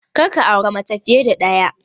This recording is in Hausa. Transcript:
Kar ka auri mace fiye da ɗaya!